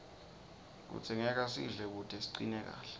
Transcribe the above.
kudzingeka sidle kute sicine kahle